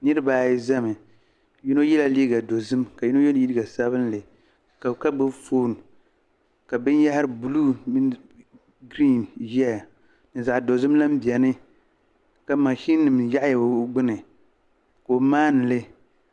Niriba ayi zami yino yela liiga dozim ka yino ye liiga sabinli ka gbubi foon ka binyɛhiri buluu ʒeya ka zaɣ'dozim lan beni ka maʒininima yaɣiya o gbuni ka o maani li.